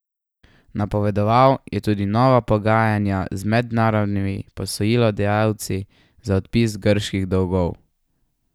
Napovedoval je tudi nova pogajanja z mednarodnimi posojilodajalci za odpis grških dolgov.